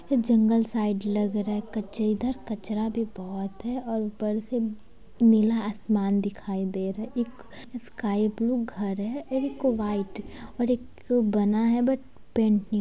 जंगल side लग रहा है। कच इधर कचरा भी बहोत है और ऊपर से नीला आसमान दिखाई दे रहा है एक स्काई ब्लू घर है एक व्हाइट और एक बना है बट पेंट ---